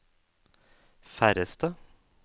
færreste